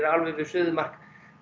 við suðumark